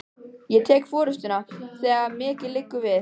Ég tek forystuna, þegar mikið liggur við!